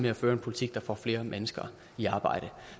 har ført en politik der får flere mennesker i arbejde